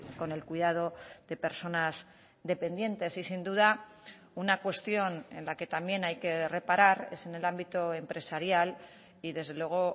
con el cuidado de personas dependientes y sin duda una cuestión en la que también hay que reparar es en el ámbito empresarial y desde luego